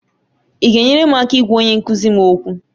Ị ga-enyere m aka ịgwa onye nkụzi m okwu?